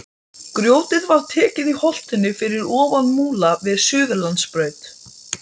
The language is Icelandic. Grjótið var tekið í holtinu fyrir ofan Múla við Suðurlandsbraut.